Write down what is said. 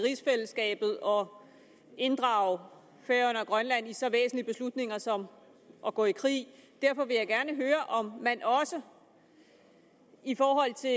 i rigsfællesskabet og inddrage færøerne og grønland i så væsentlige beslutninger som at gå i krig derfor vil jeg gerne høre om man også i forhold til